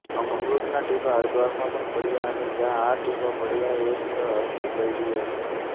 અમૃતનાં ટીપાં હરદ્વારમાં પણ પડ્યાં અને જ્યાં આ ટીપાં પડ્યાં એ સ્થળ હરકી પૈડી હતું